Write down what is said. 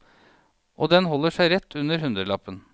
Og den holder seg rett under hundrelappen.